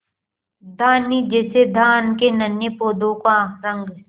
धानी जैसे धान के नन्हे पौधों का रंग